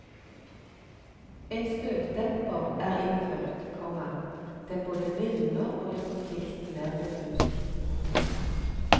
En støtdemper er innført, komma den både mildner og gjør konflikten mer diffus. punktum